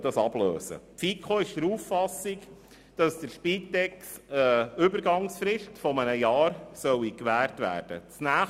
Die FiKo ist der Auffassung, dass der Spitex eine Übergangsfrist von einem Jahr gewährt werden soll.